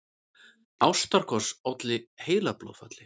Ástarkoss olli heilablóðfalli